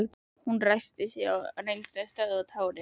Hún ræskti sig og reyndi að stöðva tárin.